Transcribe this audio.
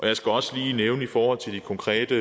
jeg skal også lige nævne i forhold til de konkrete